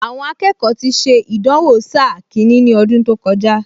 Àwọn akẹ́kọ̀ọ ti ṣe ìdánwò sáà kìíní ní ọdún tó kọjá